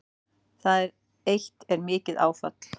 Það eitt er mikið áfall